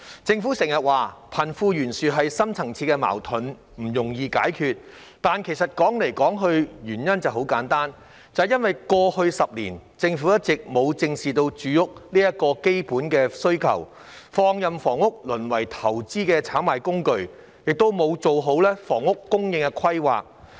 政府經常說貧富懸殊是深層次矛盾，不容易解決，但歸根究底，原因很簡單，便是因為過去10年，政府一直沒有正視住屋這個基本需求，放任房屋淪為投資炒賣工具，亦沒有做好房屋供應規劃。